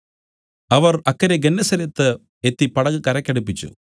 അവർ അക്കരെ ഗെന്നേസരത്ത് എത്തി പടക് കരയ്ക്കടുപ്പിച്ചു